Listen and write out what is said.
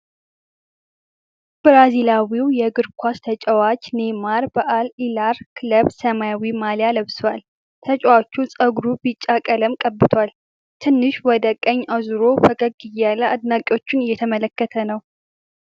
ብራዚላዊው የእግር ኳስ ተጫዋች ኔይማር በአል ሂላል ክለብ ሰማያዊ ማልያ ለብሷል። ተጫዋቹ ፀጉሩን ቢጫ ቀለም ቀብቷል። ትንሽ ወደ ቀኝ አዙሮ ፈገግ እያለ አድናቂዎቹን እየተመለከተ ነው።